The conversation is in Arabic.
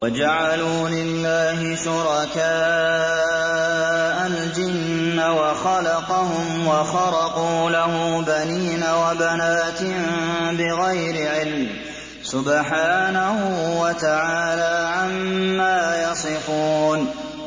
وَجَعَلُوا لِلَّهِ شُرَكَاءَ الْجِنَّ وَخَلَقَهُمْ ۖ وَخَرَقُوا لَهُ بَنِينَ وَبَنَاتٍ بِغَيْرِ عِلْمٍ ۚ سُبْحَانَهُ وَتَعَالَىٰ عَمَّا يَصِفُونَ